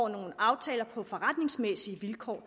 nogle aftaler på forretningsmæssige vilkår